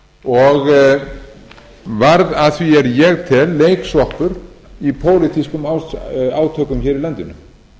og varð að því er ég tel leiksoppur í pólitískum átökum hér í landinu